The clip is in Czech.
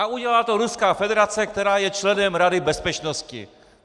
A udělala to Ruská federace, která je členem Rady bezpečnosti.